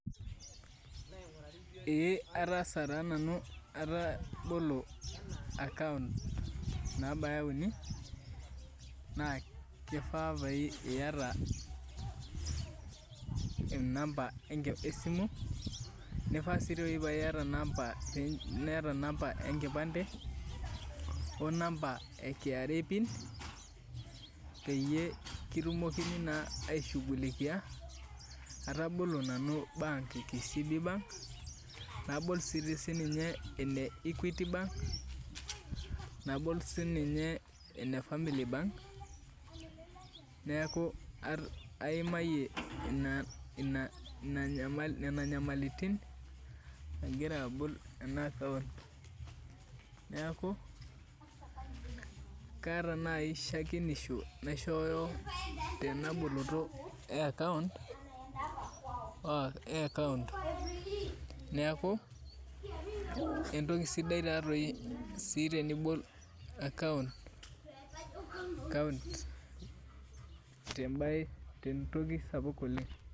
Ee ataasa na nanu atabolo account nabaya uni na kifaa piata namba esimu ,kifaa si niata namba enkipande onamba e kra pin peyieu pitumokini na aishugulikia, atabolo na naunu bank ebm kcb bank nabol sinyeene equity bank, nabol sinye ene familiy bank neaku aimayie inanyamalitin agira abol ena akount neaku kaata nai shakenisho naishooyo tenaboloto eakaunt neaku entoki sidai taatoi tenibol akount tentoki sapuk oleng.